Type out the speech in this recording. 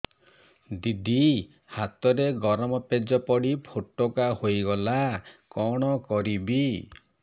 ଦିଦି ହାତରେ ଗରମ ପେଜ ପଡି ଫୋଟକା ହୋଇଗଲା କଣ କରିବି